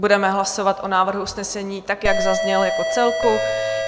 Budeme hlasovat o návrhu usnesení, tak jak zazněl, jako celku.